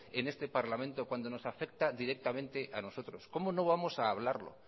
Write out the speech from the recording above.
en este parlamento cuando nos afecta directamente a nosotros cómo no vamos a hablarlo